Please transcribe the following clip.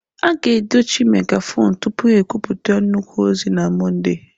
A ga-edochi megafonu tupu ha ekwupụta nnukwu ozi na Mọnde.